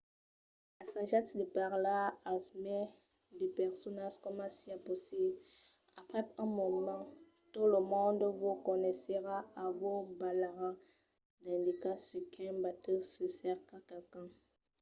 assajatz de parlar al mai de personas coma siá possible. aprèp un moment tot lo monde vos coneisserà e vos balharà d’indicas sus quin batèu se cerca qualqu’un